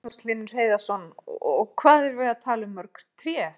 Magnús Hlynur Hreiðarsson: Og hvað erum við að tala um mörg tré?